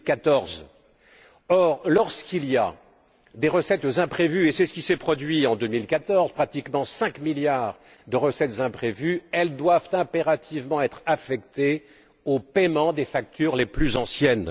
2014. Or, lorsque il y a des recettes imprévues et c'est ce qui s'est produit en 2014, pratiquement 5 milliards de recettes imprévues elles doivent impérativement être affectées au paiement des factures les plus anciennes.